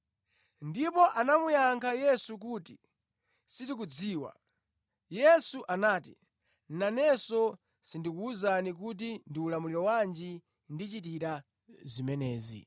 Ndipo anamuyankha Yesu kuti, “Sitikudziwa.” Yesu anati, “Nanenso sindikuwuzani kuti ndi ulamuliro wanji ndichitira zimenezi.”